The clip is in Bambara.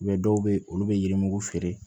dɔw bɛ yen olu bɛ yirimugu feere